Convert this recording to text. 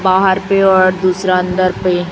बाहर पे और दूसरा अंदर पे--